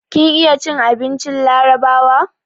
Kin iya cin abincin larabawa?